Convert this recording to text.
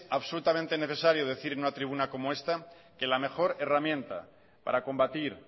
absolutamente necesario decir en una tribuna como esta que la mejor herramienta para combatir